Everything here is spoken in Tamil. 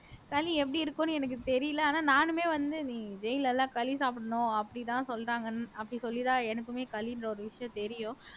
களி எப்படி இருக்கும்னு எனக்கு தெரியல ஆனா நானுமே வந்து நீ ஜெயில்ல எல்லாம் களி சாப்பிடணும் அப்படிதான் சொல்றாங்கன்னு அப்படி சொல்லி தான் எனக்குமே களின்ற ஒரு விஷயம் தெரியும்